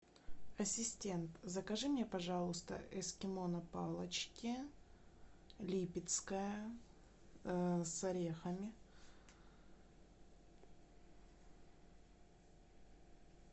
ассистент закажи мне пожалуйста эскимо на палочке липецкое с орехами